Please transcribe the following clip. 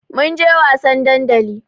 Mun je wasan dandali.